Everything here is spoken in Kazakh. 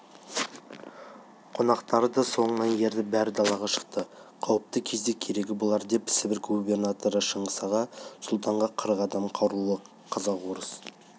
қонақтары да соңынан еріп бәрі далаға шықты қауіпті кезде керегі болар деп сібір губернаторы шыңғыс аға сұлтанға қырық адам қарулы қазақ-орыс